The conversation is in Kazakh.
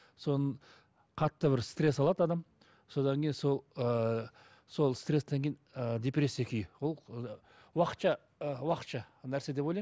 соның қатты бір стресс алады адам содан кейін сол ыыы сол стресстен кейін ы депрессия күйі ол уақытша ы уақытша нәрсе деп ойлаймын